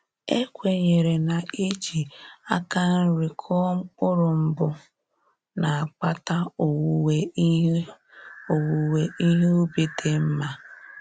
E kwenyere na-iji aka nri kụọ mkpụrụ mbụ na-akpata owuwe ihe owuwe ihe ubi dị nma